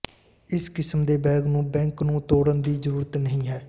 ਇਸ ਕਿਸਮ ਦੇ ਬੈਗ ਨੂੰ ਬੈਂਕ ਨੂੰ ਤੋੜਨ ਦੀ ਜ਼ਰੂਰਤ ਨਹੀਂ ਹੈ